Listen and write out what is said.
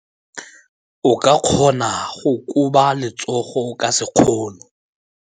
O ka kgona go koba letsogo ka sekgono.